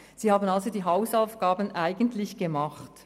Sie hat somit ihre Hausaufgaben gemacht.